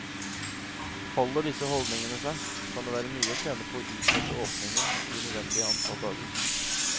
Holder disse holdningene seg, kan det være mye å tjene på å utsette åpningen de nødvendige antall dager.